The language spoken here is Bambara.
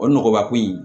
O nɔgɔba ko in